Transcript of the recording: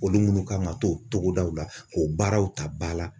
Olu minnu kan ka to togodaw la k'o baaraw ta ba la